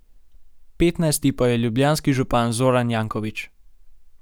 Petnajsti pa je ljubljanski župan Zoran Janković.